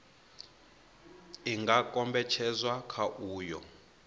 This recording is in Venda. i nga kombetshedzwa kha uyo